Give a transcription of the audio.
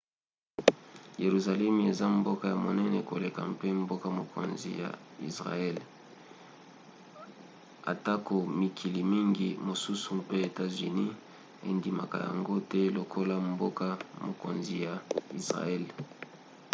yeruzalemi eza mboka ya monene koleka mpe mboka-mokonzi ya israele atako mikili mingi mosusu mpe etats-unis endimaka yango te lokola mboka-mokonzi ya israele